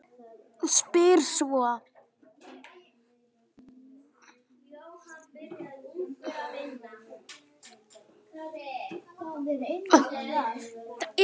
Spyr svo